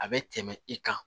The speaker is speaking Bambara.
A bɛ tɛmɛ i kan